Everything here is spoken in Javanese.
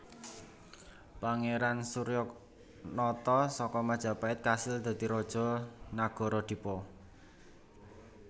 Pangeran Suryanata saka Majapahit kasil dadi raja Nagara Dipa